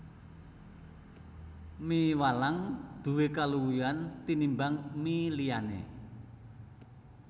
Mie walang nduwé kaluwihan tinimbang mie liyané